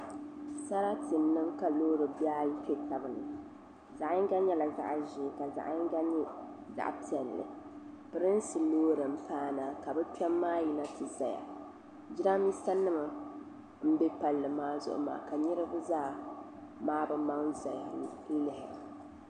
Sarati n niŋ ka loori bihayi kpe tabni zagyinga nyɛla zagzhei ka nyingba nyɛ zaɣ sabinli prinsi loori n paana kabi kpɛm maa nyina ti zaya jiranbisa nim nbɛ pali maa zugu maa kaniribi zaa maabi maŋa n NYU's tizaya